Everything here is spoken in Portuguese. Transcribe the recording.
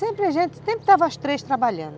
Sempre a gente, sempre estavam as três trabalhando.